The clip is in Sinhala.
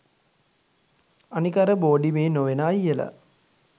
අනික අර බෝඩිමේ නොවෙන අයියල